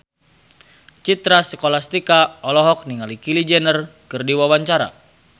Citra Scholastika olohok ningali Kylie Jenner keur diwawancara